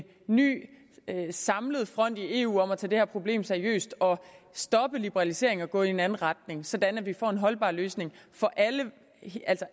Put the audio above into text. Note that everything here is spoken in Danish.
ny samlet front i eu til at tage det her problem seriøst og stoppe liberaliseringen og gå i en anden retning sådan at vi får en holdbar løsning for alle